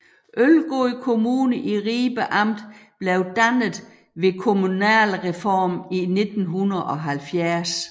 Ølgod Kommune i Ribe Amt blev dannet ved kommunalreformen i 1970